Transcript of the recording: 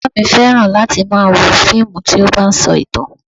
Bàbá mi fẹ́ran láti máa wo fíìmù tí ó bá ń sọ ìtàn